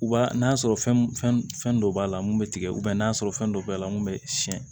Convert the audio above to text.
U b'a n'a sɔrɔ fɛn fɛn dɔ b'a la mun bɛ tigɛ n'a sɔrɔ fɛn dɔ b'a la mun bɛ siɲɛ